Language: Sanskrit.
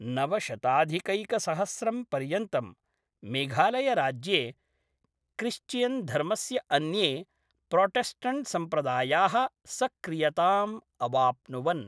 नवशताधिकैकसहस्रं पर्यन्तं मेघालयराज्ये क्रिश्चियन्धर्मस्य अन्ये प्रोटेस्टण्ट्सम्प्रदायाः सक्रियताम् अवाप्नुवन्।